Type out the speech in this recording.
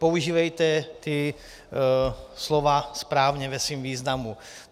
Používejte ta slova správně v jejich významu.